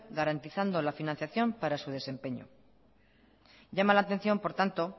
garantizando la financiación para su desempeño llama la atención por tanto